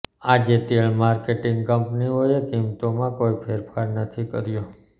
આજે તેલ માર્કેટિંગ કંપનીયોએ કિંમતોમાં કોઈ ફેરફાર નથી કર્યો